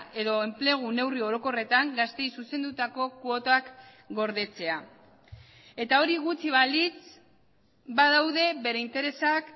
edo enplegu neurri orokorretan gazteei zuzendutako kuotak gordetzea eta hori gutxi balitz badaude bere interesak